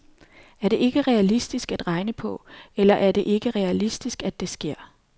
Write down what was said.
Er det ikke realistisk at regne på, eller er det ikke realistisk, at det sker.